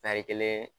Tari kelen